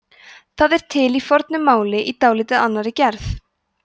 það er til í fornu máli í dálítið annarri gerð